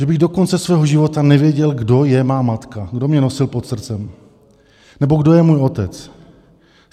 Že bych do konce svého života nevěděl, kdo je má matka, kdo mě nosil pod srdcem nebo kdo je můj otec.